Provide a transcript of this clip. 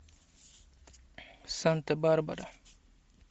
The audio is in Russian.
санта барбара